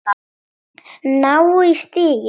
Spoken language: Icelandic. Ná í stigið.